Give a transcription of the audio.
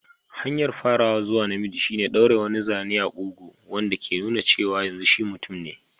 Hanyar farawa zuwa namiji shine ɗaure wani zane a kugu, wanda ke nuna cewa yanzu shi mutum ne.